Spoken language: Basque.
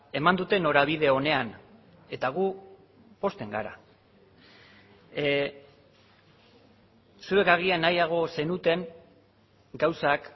eman dute norabide onean eta gu pozten gara zuek agian nahiago zenuten gauzak